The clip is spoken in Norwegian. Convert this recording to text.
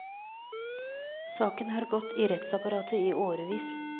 Saken har gått i rettsapparatet i årevis.